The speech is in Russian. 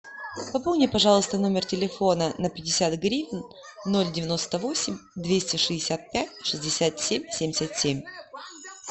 пополни пожалуйста номер телефона на пятьдесят гривен ноль девяносто восемь двести шестьдесят пять шестьдесят семь семьдесят семь